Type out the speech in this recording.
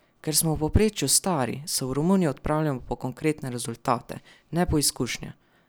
Ker smo v povprečju stari, se v Romunijo odpravljamo po konkretne rezultate, ne po izkušnje.